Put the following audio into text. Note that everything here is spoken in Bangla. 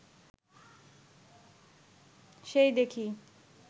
সেই দেখি